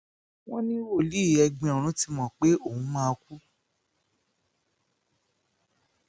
wọn ní wòlíì ẹgbin ọrun ti mọ pé òun máa kú